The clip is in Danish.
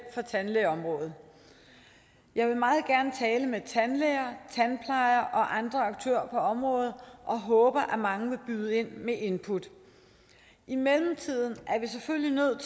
for tandlægeområdet jeg vil meget gerne tale med tandlæger tandplejere og andre aktører på området og håber at mange vil byde ind med input i mellemtiden er vi selvfølgelig nødt